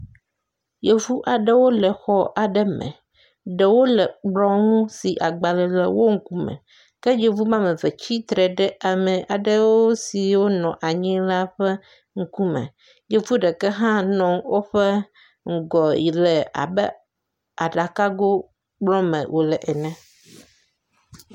Yevu aɖewo le xɔ aɖe me, ɖewo le kplɔ ŋu si agbalẽ le wo ŋkume. Ke yevu wobe ame eve tsatsitre ɖe ame aɖewo siwo nɔ anyi la ƒe ŋkume. Yevu ɖeka hã nɔ woƒe ŋgɔ abe aɖakago kplɔ me wòle ene.